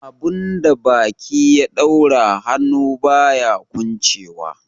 Abun da baki ya daura, hannu baya kwanchewa.